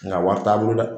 Nga wari t'a bolo dɛ